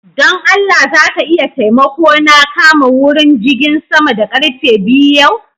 Don Allah za ka iya taimako na kama wurin jigin sama da karfe biyu yau?